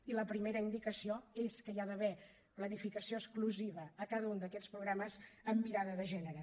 i la primera indicació és que hi ha d’haver planificació exclusiva per a cada un d’aquests programes amb mirada de gènere